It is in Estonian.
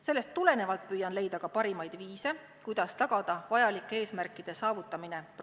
Sellest tulenevalt püüan leida parimaid viise, kuidas tagada programmis seatud eesmärkide saavutamine.